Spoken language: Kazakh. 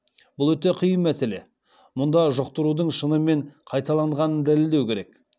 бұл өте қиын мәселе мұнда жұқтырудың шынымен қайталанғанын дәлелдеу керек